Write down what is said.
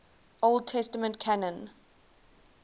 old testament canon